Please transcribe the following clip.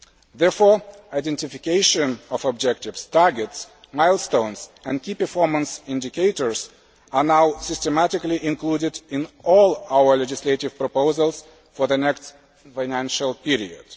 Therefore, identification of objectives, targets, milestones and key performance indicators are now systematically included in all our legislative proposals for the next financial period.